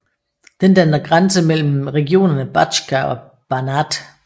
Den danner grænse mellem regionerne Bačka og Banat